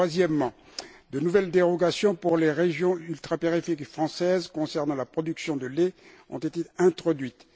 Troisièmement, de nouvelles dérogations pour les régions ultrapériphériques françaises concernant la production de lait ont été introduites.